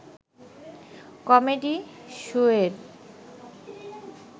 comedy শোয়ের